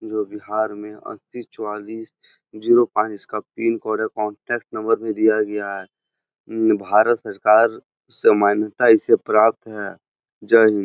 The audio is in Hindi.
जो बिहार में अड़तीस चौवालीस जीरो पांच इसका पिन कोड है कांटेक्ट नंबर भी दिया गया है भारत सरकार से मान्यता इसे प्राप्त है जय हिन्द ।